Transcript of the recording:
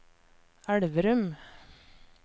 Elverum